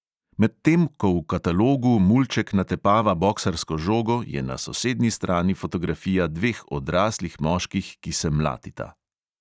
Medtem ko v katalogu mulček natepava boksarsko žogo, je na sosednji strani fotografija dveh odraslih moških, ki se mlatita.